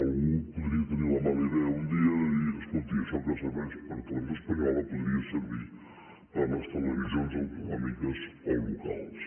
algú podria tenir la mala idea un dia de dir escolti això que serveix per a televisió espanyola podria servir per a les televisions autonòmiques o locals